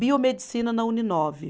Biomedicina na Uni nove.